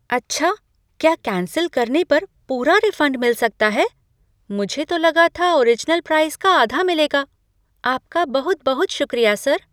अच्छा! क्या कैंसिल करने पर पूरा रिफंड मिल सकता है, मुझे तो लगा था ओरिजनल प्राइस का आधा मिलेगा। आपका बहुत बहुत शुक्रिया सर।